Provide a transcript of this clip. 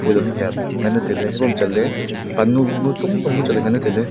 phun ham yam nganley tailey ebo chatley pannu wunu chatley nganley tailey.